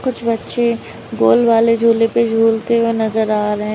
कुछ बच्चे गोल वाले झूले पे झूलते हुए नजर आ रहे हैं।